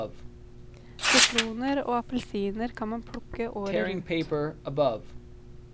Sitroner og appelsiner kan man plukke året rundt.